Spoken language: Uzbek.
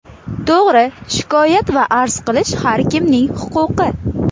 To‘g‘ri, shikoyat va arz qilish har kimning huquqi.